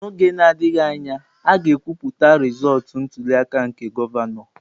N'oge na-adịghị anya, a ga-ekwupụta rizọọtụ ntuli aka nke gọvanọ.